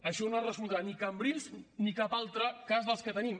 això no resoldrà ni cambrils ni cap altre cas dels que tenim